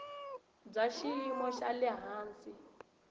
bya xiyimo xa le hansi